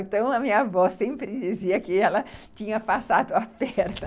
Então, a minha avó sempre dizia que ela tinha passado a perna.